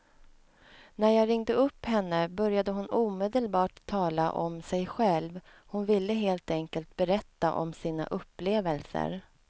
När jag ringde upp henne började hon omedelbart tala om sig själv, hon ville helt enkelt berätta om sina upplevelser.